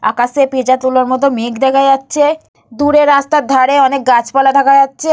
আকাশে পিজা তুলোর মতন মেঘ দেখা যাচ্ছে। দূরে রাস্তার ধারে অনেক গাছপালা দেখা যাচ্ছে।